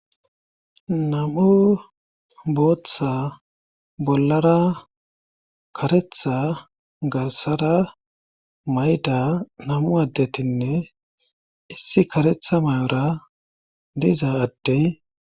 Nam7u booththa bollara karetha gassara mayda namu addetinne issi karetha may7ora diza addey